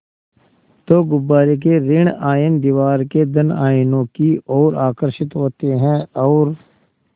तो गुब्बारे के ॠण आयन दीवार के धन आयनों की ओर आकर्षित होते हैं और